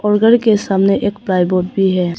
के सामने एक प्लाई बोर्ड भी है।